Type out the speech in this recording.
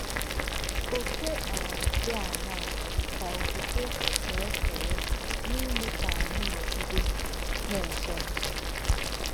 Òkè um dì àṅáà kà òkwùkwè nà-ékéré n’ímè kà ányị̀ nọ̀gide nà-èchè nchè.